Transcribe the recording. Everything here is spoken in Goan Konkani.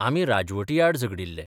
आमी राजवटी आड झगडिल्ले.